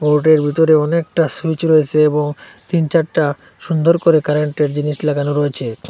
বোর্ডের ভিতরে অনেকটা সুইচ রয়েসে এবং তিন চারটা সুন্দর করে কারেন্টের জিনিস লাগানো রয়েছে।